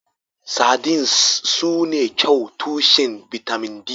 Sardines sune kyau tushen bitamin D.